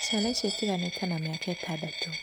Ciana icio itiganĩte na mĩaka ĩtandatũ.